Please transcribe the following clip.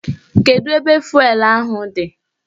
Kedu ebe fụelụ ahụ dị?